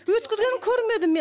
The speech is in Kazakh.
өткізгенін көрмедім мен